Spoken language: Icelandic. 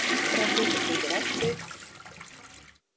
Nokkrar klukkustundir eftir